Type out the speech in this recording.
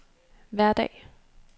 hverdag